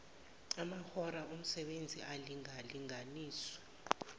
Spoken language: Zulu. amahora omsebenzi alingalinganiswe